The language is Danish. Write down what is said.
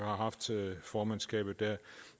har haft formandskabet der